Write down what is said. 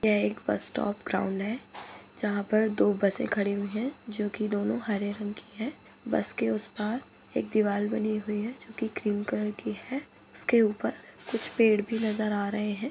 यह एक bus stop ground है जहाँ पर दो बसे खड़ी हुई हैं जो कि दोनों हरे रंग की हैं। बस के उस पार एक दीवाल बनी हुई है जो कि क्रीम कलर की है। उसके ऊपर कुछ पेड़ भी नजर आ रहे हैं।